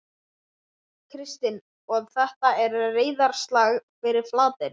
Kristinn: Og þetta er reiðarslag fyrir Flateyri?